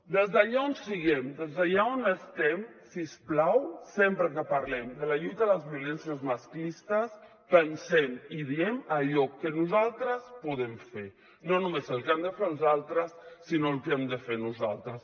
des d’allà on siguem des d’allà on estiguem si us plau sempre que parlem de la lluita contra les violències masclistes pensem i diguem allò que nosaltres podem fer no només el que han de fer els altres sinó el que hem de fer nosaltres